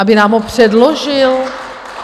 Aby nám ho předložil?